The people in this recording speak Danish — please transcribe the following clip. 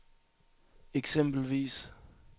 eksempelvis